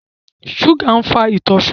Ṣúgà ń fa ìtọ̀ ṣúgà